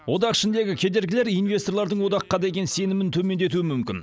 одақ ішіндегі кедергілер инвесторлардың одаққа деген сенімін төмендетуі мүмкін